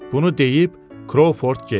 Bunu deyib Krovford getdi.